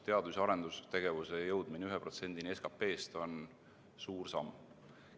Teadus- ja arendustegevuse jõudmine 1%‑ni SKP-st on suur samm.